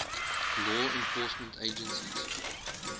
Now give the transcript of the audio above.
law enforcement agencies